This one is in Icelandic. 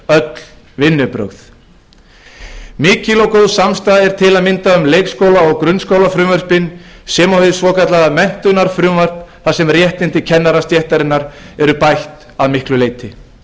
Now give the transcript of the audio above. öll vinnubrögð mikil og góð samstaða er til að mynda um leikskóla og grunnskólafrumvörpin sem og hið svokallaða menntunarfrumvarp þar sem réttindi kennarastéttarinnar eru bætt að ýmsu leiti